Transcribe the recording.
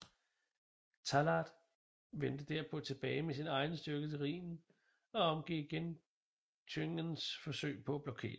Tallard vendte derpå tilbage med sin egen styrke til Rhinen og omgik igen Thüngens forsøg på at blokere